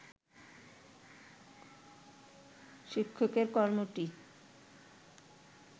শিক্ষকের কর্মটি